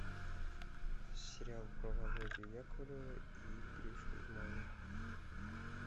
сериал про володю яковлева и гришу измайлова